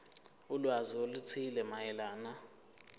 ulwazi oluthile mayelana